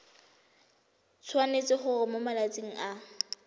tshwanetse gore mo malatsing a